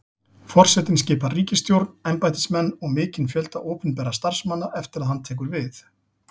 Forsetinn skipar ríkisstjórn, embættismenn og mikinn fjölda opinberra starfsmanna eftir að hann tekur við.